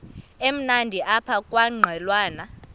emnandi apha kwaqhelwana